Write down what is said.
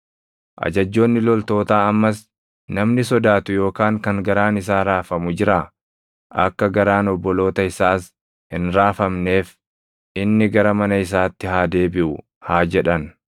Ajajjoonni loltootaa ammas, “Namni sodaatu yookaan kan garaan isaa raafamu jiraa? Akka garaan obboloota isaas hin raafamneef inni gara mana isaatti haa deebiʼu” haa jedhan.